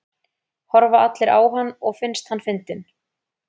Horfa allir á hann og finnst hann fyndinn?